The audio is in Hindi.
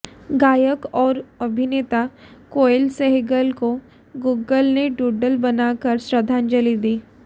गायक और अभिनेता केएल सहगल को गूगल ने डूडल बनाकर श्रद्धांजलि दी